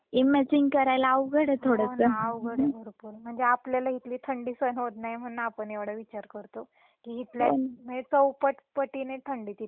हो ना अवघड आहे भरपूर म्हणजे आपल्याला इथली थंडी सहन होत नाही म्हणून आपण एव्हडा विचार करतो म्हणजे इथल्या चौपट पटीने थंडी आहे तिथे मग ते कसे राहत असतील.